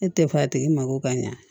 E tɛ fa tigi mako ka ɲa